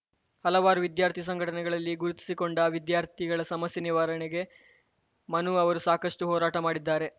ಹಲವಾರು ವಿದ್ಯಾರ್ಥಿ ಸಂಘಟನೆಗಳಲ್ಲಿ ಗುರುತಿಸಿಕೊಂಡ ವಿದ್ಯಾರ್ಥಿಗಳ ಸಮಸ್ಯೆ ನಿವಾರಣೆಗೆ ಮನು ಅವರು ಸಾಕಷ್ಟುಹೋರಾಟ ಮಾಡಿದ್ದಾರೆ